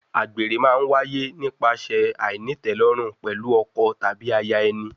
Àgbèrè má ń wáyé nípasẹ̀ àìnítẹ̀lórùn pẹ̀lú ọkọ tàbí aya ẹni.